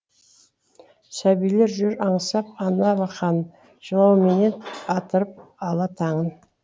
сәбилер жүр аңсап ана алақанын жылауменен атырып ала таңын